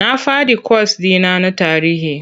Na faɗi kwas ɗi na na tarihi.